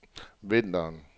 vinteren